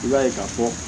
I b'a ye ka fɔ